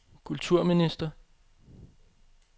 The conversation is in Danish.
kulturminister